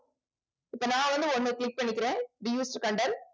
இப்ப நான் வந்து ஒண்ணு click பண்ணிக்கிறேன்